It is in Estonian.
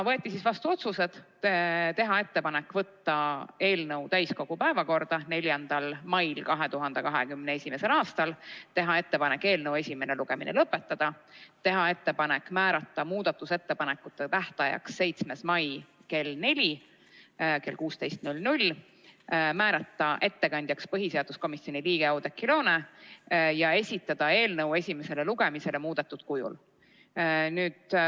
Võeti vastu järgmised otsused: teha ettepanek võtta eelnõu täiskogu päevakorda 4. mail 2021. aastal, teha ettepanek eelnõu esimene lugemine lõpetada, määrata muudatusettepanekute tähtajaks 7. mai kell 16, määrata ettekandjaks põhiseaduskomisjoni liige Oudekki Loone ja esitada eelnõu esimesele lugemisele muudetud kujul.